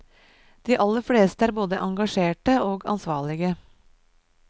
De aller fleste er både engasjerte og ansvarlige.